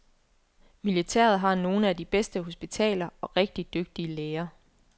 Militæret har nogle af de bedste hospitaler og rigtig dygtige læger.